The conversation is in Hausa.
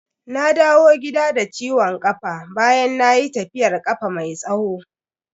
Na dawo gida da ciwon kafa bayan nayi tafiyar kafa mai tsawo.